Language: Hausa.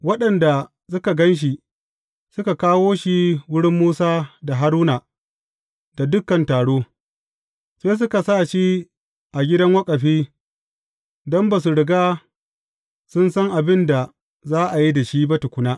Waɗanda suka gan shi, suka kawo shi wurin Musa da Haruna da dukan taro, sai suka sa shi a gidan waƙafi don ba su riga sun san abin da za a yi da shi ba tukuna.